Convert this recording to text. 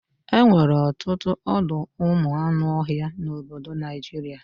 Enwere ọtụtụ ọdọụmụanụọhịa n'obodo Naijiria